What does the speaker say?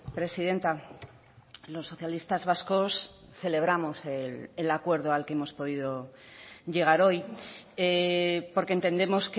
presidenta los socialistas vascos celebramos el acuerdo al que hemos podido llegar hoy porque entendemos